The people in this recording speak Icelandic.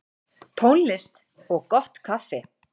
Tónlist og gott kaffi.